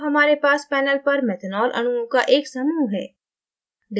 अब हमारे पास panel पर methanol अणुओं का एक समूह है